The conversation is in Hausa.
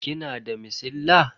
Kina da masilla?